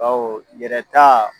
Baw yɛrɛ taa